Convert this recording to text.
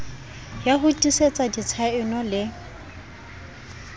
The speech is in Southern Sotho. ya ho tiisetsa ditshaeno le